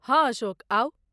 हँ अशोक, आउ।